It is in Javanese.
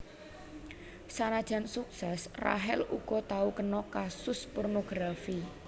Sanajan suksès Rachel uga tau kena kasus pornografi